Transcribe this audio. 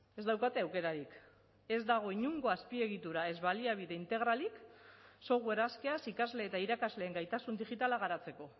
ez daukate aukerarik ez dago inongo azpiegitura ez baliabide integralik software askeaz ikasle eta irakasleen gaitasun digitala garatzeko